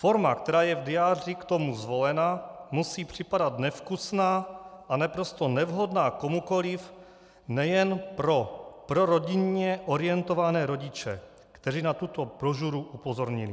Forma, která je v diáři k tomu zvolena, musí připadat nevkusná a naprosto nevhodná komukoliv nejen pro rodinně orientované rodiče, kteří na tuto brožuru upozornili.